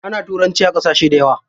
Ana turanci a ƙasashe dayawa.